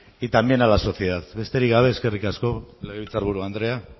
y también la sociedad besterik gabe eskerrik asko legebiltzar buru andrea